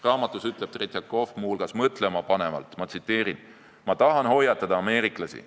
Raamatus ütleb Tretjakov muu hulgas mõtlemapanevalt: "Ma tahan hoiatada ameeriklasi.